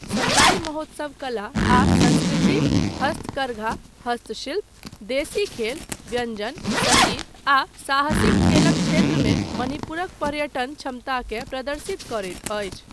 सङ्गाइ महोत्सव कला आ संस्कृति, हस्तकरघा, हस्तशिल्प, देशी खेल, व्यञ्जन, सङ्गीत आ साहसिक खेलक क्षेत्रमे मणिपुरक पर्यटन क्षमताकेँ प्रदर्शित करैत अछि।